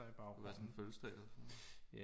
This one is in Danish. Det er bare sådan en fødselsdag eller sådan noget